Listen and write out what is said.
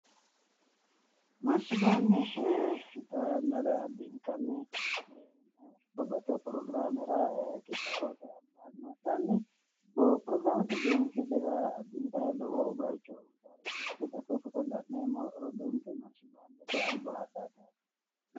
Marshi baande xaa yannara addintanni babbaxxitino pirogiraamera qixaawote albaanni pirogiraamete biinfillira addintayi lowo bayicho uyitaareeti yaate. Xa koye fotote la'neemmo roduuwinke marshi baandete albaa hadhayi no yaate.